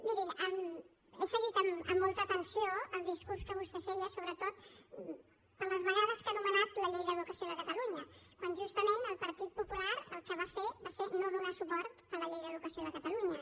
mirin he seguit amb molta atenció el discurs que vostè feia sobretot per les vegades que ha anomenat la llei d’educació de catalunya quan justament el partit popular el que va fer va ser no donar suport a la llei d’educació de catalunya